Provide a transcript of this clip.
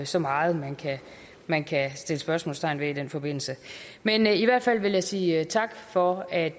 så meget man kan sætte spørgsmålstegn ved i den forbindelse men i hvert fald vil jeg sige tak for at